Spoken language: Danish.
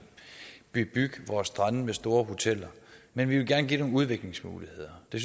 bebygge vores strande med store hoteller men vi vil gerne give nogle udviklingsmuligheder det